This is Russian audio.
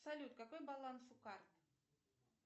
салют какой баланс у карт